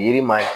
Yiri ma